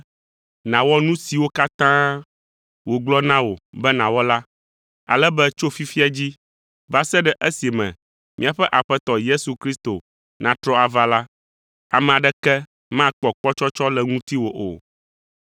nàwɔ nu siwo katã wògblɔ na wò be nàwɔ la, ale be tso fifia dzi va se ɖe esime míaƒe Aƒetɔ Yesu Kristo natrɔ ava la, ame aɖeke makpɔ kpɔtsɔtsɔ le ŋutiwò o.